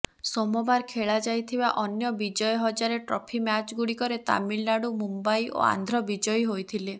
ସୋମବାର ଖେଳା ଯାଇଥିବା ଅନ୍ୟ ବିଜୟ ହଜାରେ ଟ୍ରଫି ମ୍ୟାଚ୍ଗୁଡ଼ିକରେ ତାମିଲନାଡୁ ମୁମ୍ବାଇ ଓ ଆନ୍ଧ୍ର ବିଜୟୀ ହୋଇଥିଲେ